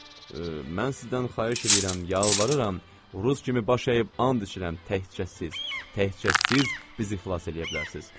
Mən sizdən xahiş eləyirəm, yalvarıram, rus kimi baş əyib and içirəm, təkcə siz, təkcə siz bizi xilas eləyə bilərsiniz.